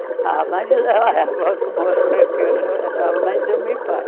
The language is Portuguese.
Era, a avó que morou aqui era a mãe do meu pai.